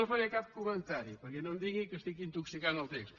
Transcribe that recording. no faré cap comentari perquè no em diguin que intoxico el text